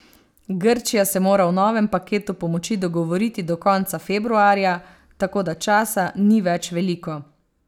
Grčija se mora o novem paketu pomoči dogovoriti do konca februarja, tako da časa ni več veliko.